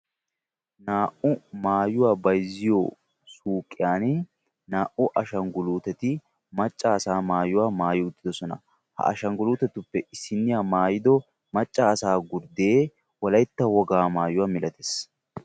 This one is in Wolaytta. Maayuwaa bayzziyo suyqqiyan naa'u ashshagguntteti maayuwa maayiddi wolaytta wogaa qonccisoossonna.